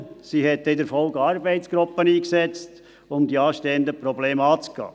Sie hat in der Folge eine Arbeitsgruppe eingesetzt, um die anstehenden Probleme anzugehen.